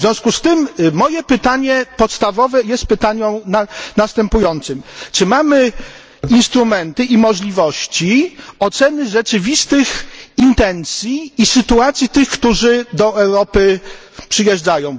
W związku z tym moje pytanie podstawowe jest pytaniem następującym czy mamy instrumenty i możliwości oceny rzeczywistych intencji i sytuacji tych, którzy do Europy przyjeżdżają?